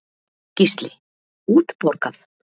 Gísli: Útborgað?